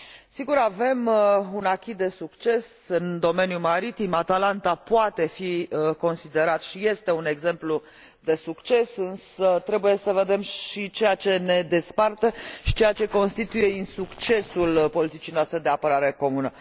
Sigur, avem un acquis de succes în domeniul maritim Atalanta poate fi considerat, și este, un exemplu de succes, însă trebuie să vedem și ceea ce ne desparte și ceea ce constituie insuccesul politicii noastre de apărare comună.